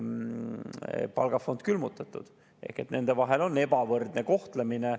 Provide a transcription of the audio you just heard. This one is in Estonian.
Nende palgafond on külmutatud ehk nende puhul on ebavõrdne kohtlemine.